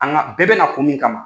An ka bɛɛ bɛ na kun min kama.